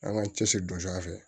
An ka cɛsiri don a fɛ